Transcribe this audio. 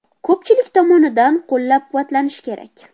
Ko‘pchilik tomonidan qo‘llab-quvvatlanishi kerak.